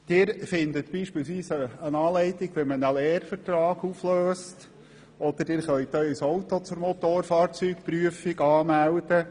Sie finden beispielsweise eine Anleitung, wie man einen Lehrvertrag auflöst, oder Sie können Ihr Auto zur Motorfahrzeugprüfung anmelden.